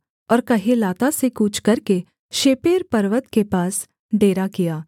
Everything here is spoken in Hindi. और कहेलाता से कूच करके शेपेर पर्वत के पास डेरा किया